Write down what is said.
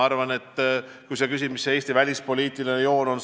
Aga sa küsisid, mis see Eesti välispoliitiline joon on.